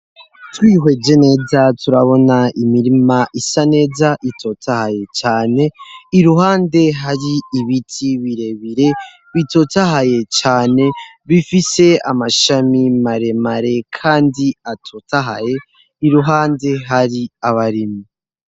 Twiheje neza turabona imirima isa neza itotahaye cane .Iruhande hari ibiti birebire bitotahaye cane bifise amashami maremare kandi atotahaye iruhande hari abarimyi.